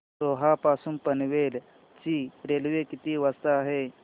रोहा पासून पनवेल ची रेल्वे किती वाजता आहे